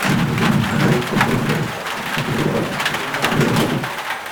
Antu anoite ngezvemutambo, ingaa yekurumba,